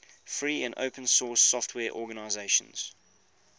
free and open source software organizations